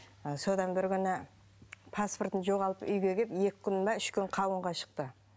ы содан бір күні паспортын жоғалтып үйге келіп екі күн бе үш күн қауынға шықты